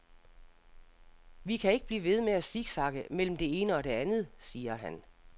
Vi kan ikke blive ved med at siksakke mellem det ene og det andet, siger han.